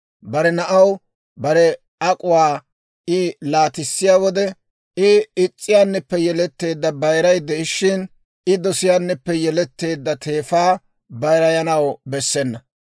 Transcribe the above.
bare naanaw bare ak'uwaa I laatissiyaa wode, I is's'iyaanippe yeletteedda bayiray de'ishshin, I dosiyaanippe yeletteedda teefaa bayirayanaw bessena.